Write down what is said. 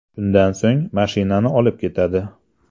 Shundan so‘ng mashinani olib ketadi.